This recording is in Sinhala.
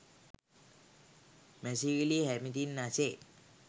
මැසිවිලි හැමතින් ඇසේ